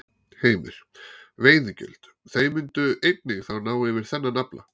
Heimir: Veiðigjöld, þau myndu einnig þá ná yfir þennan afla?